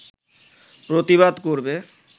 প্রতিবাদ করবে